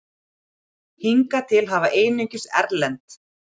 Hingað til hafa einungis erlend